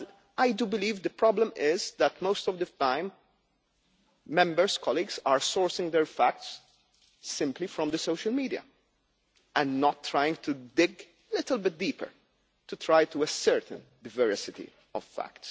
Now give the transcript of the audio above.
I do believe the problem is that most of the time, Members and colleagues are sourcing their facts simply from the social media and not trying to dig little bit deeper to try to ascertain the veracity of fact.